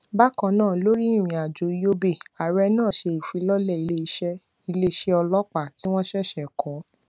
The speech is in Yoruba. bákan náà lórí ìrìn àjò yobe ààrẹ náà ṣe ìfilọlé iléiṣẹ iléiṣẹ ọlọpàá tí wọn ṣèṣè kọ